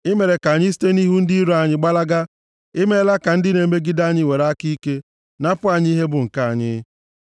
I mere ka anyị site nʼihu ndị iro anyị gbalaga, i meela ka ndị na-emegide anyị were aka ike napụ anyị ihe bụ nke anyị.